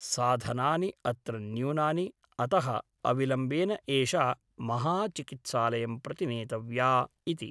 साधनानि अत्र न्यूनानि । अतः अविलम्बेन एषा महाचिकित्सालयं प्रति नेतव्या इति ।